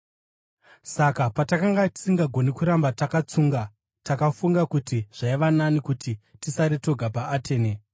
Saka patakanga tisingagoni kuramba takatsunga, takafunga kuti zvaiva nani kuti tisare toga paAtene.